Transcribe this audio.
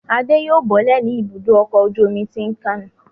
Adé yóò bọ́lẹ̀ ní Ibùdó-ọkọ̀ ojú-omi Tin Can.